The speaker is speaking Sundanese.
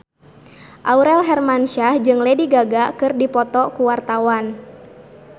Aurel Hermansyah jeung Lady Gaga keur dipoto ku wartawan